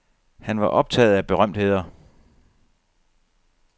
Han var optaget af berømtheder.